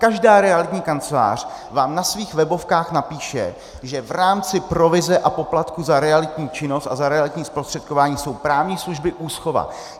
Každá realitní kancelář vám na svých webovkách napíše, že v rámci provize a poplatku za realitní činnost a za realitní zprostředkování jsou právní služby, úschova.